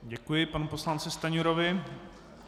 Děkuji panu poslanci Stanjurovi.